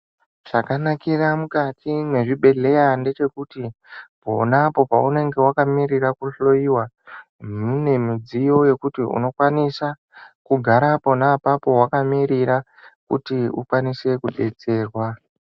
Zvakanakira mukati mechibhedhlera ndechekuti ponapo paunenge wakamirira kuhloiwa mune midziyo yekuti unokwanisa kugara pona apapo wakamirira kuti ukwanise kudetserwa.